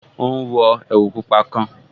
Ó ún wọ ẹ̀wù pupa kan